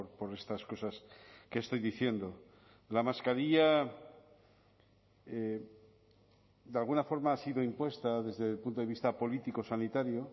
por estas cosas que estoy diciendo la mascarilla de alguna forma ha sido impuesta desde el punto de vista político sanitario